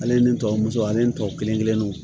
Ale ni n tɔmuso ale ntɔ kelen kelenninw